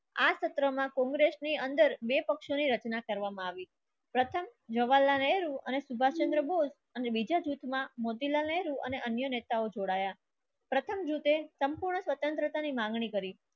આ સત્રમાં કોંગ્રેસની અંદર બે પક્ષોની રચના કરવામાં આવી પ્રથમ જવાહરલાલ નહેરુ અને સુભાષચંદ્ર બોઝ અને બીજા જૂથમાં મોતીલાલ નેહરુ અને અન્ય નેતાઓ જોડાયા પ્રથમ યુતે સંપૂર્ણ સ્વતંત્રતાની માંગણી કરી.